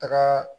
Taga